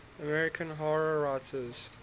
american horror writers